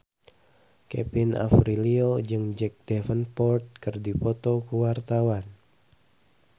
Kevin Aprilio jeung Jack Davenport keur dipoto ku wartawan